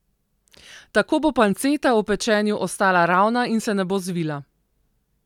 Tako bo panceta ob pečenju ostala ravna in se ne bo zvila.